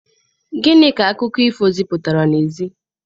Gịnị ka akụkọ ifo zipụtara n'ezie?